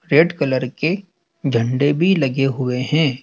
Red colour के झंडे भी लगे हुए है।